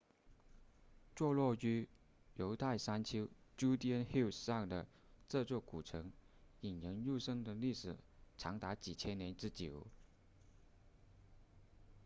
坐落于犹太山丘 judean hills 上的这座古城引人入胜的历史长达几千年之久